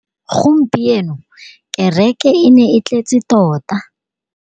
Gompieno kêrêkê e ne e tletse tota.